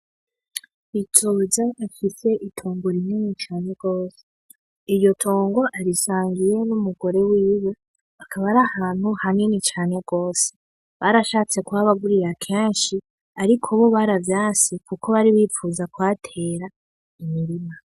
Bizoza afise itongo rinini cane gose. Iryo to go arisangiye n'umugore wiwe akaba ari ahantu hanini cane gose, barashatse kuhabagurira kenshi ariko bo baravyanse kuko bari bifuza kuhatera imirima.